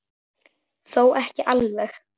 Þó ekki alveg.